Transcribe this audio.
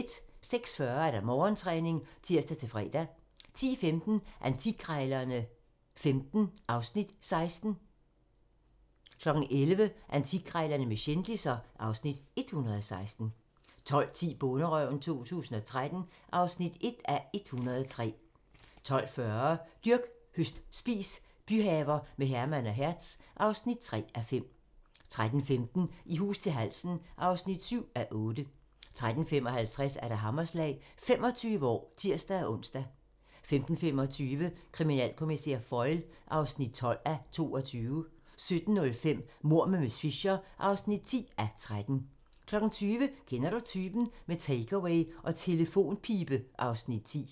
06:40: Morgentræning (tir-fre) 10:15: Antikkrejlerne XV (Afs. 16) 11:00: Antikkrejlerne med kendisser (Afs. 116) 12:10: Bonderøven 2013 (1:103) 12:40: Dyrk, høst, spis - byhaver med Herman og Hertz (3:5) 13:15: I hus til halsen (7:8) 13:55: Hammerslag - 25 år (tir-ons) 15:25: Kriminalkommissær Foyle (12:22) 17:05: Mord med miss Fisher (10:13) 20:00: Kender du typen? - med takeaway og telefonpibe (Afs. 10)